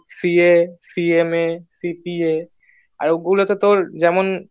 CA CMA CPA আর ওগুলাতে তোর যেমন